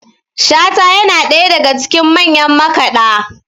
shata yana ɗaya daga cikin manyan makaɗa